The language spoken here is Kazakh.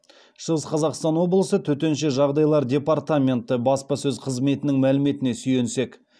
шығыс қазақстан облысы төтенше жағдайлар департаменті баспасөз қызметінің мәліметіне сүйенсек